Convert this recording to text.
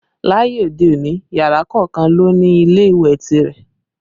Láyé òde òní, yàrá kọ̀ọ̀kan ló ń ní ilé ìwẹ̀ tirẹ̀